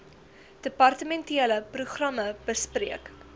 departementele programme bespreek